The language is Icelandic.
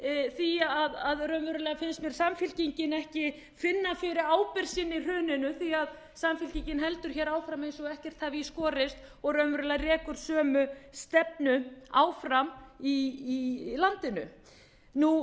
því að raunverulega finnst mér samfylkingin ekki finna fyrir ábyrgð sinni í hruninu því samfylkingin heldur áfram eins og ekkert hafi í skorist og rekur raunverulega sömu stefnu áfram í landinu ég